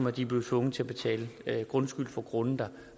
at de er blevet tvunget til at betale grundskyld for grunde der